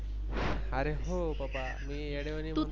अरे हो बाबा मी येडया वाणी.